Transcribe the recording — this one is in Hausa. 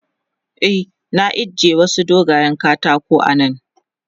E, na ije wasu dogayen katakan a nan.